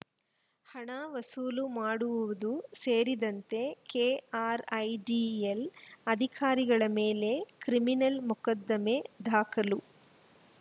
ಹಣ ವಸೂಲು ಮಾಡುವುದೂ ಸೇರಿದಂತೆ ಕೆಆರ್‌ಐಡಿಎಲ್‌ ಅಧಿಕಾರಿಗಳ ಮೇಲೆ ಕ್ರಿಮಿನಲ್‌ ಮೊಕದ್ದಮೆ ದಾಖಲು